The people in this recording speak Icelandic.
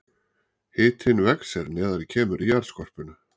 Hitinn vex er neðar kemur í jarðskorpuna.